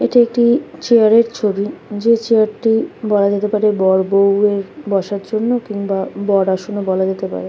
এটি একটি চেয়ার এর ছবি যে চেয়ার টি বলা যেতে পারে বড় বৌ এর বসার জন্য কিংবা বর আসন ও বলা যেতে পারে।